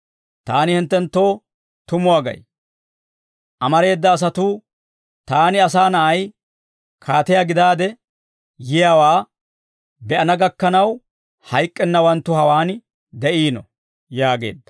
Taani hinttenttoo tumuwaa gay; amareeda asatuu, taani, Asaa Na'ay, kaatiyaa gidaade yiyaawaa be'ana gakkanaw, hayk'k'ennawanttu hawaan de'iino» yaageedda.